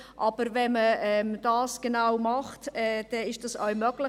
Aber wenn man das genau macht, ist es auch möglich.